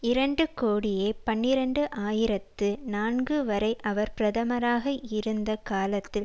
இரண்டு கோடியே பனிரண்டு ஆயிரத்து நான்கு வரை அவர் பிரதமராக இருந்த காலத்தில்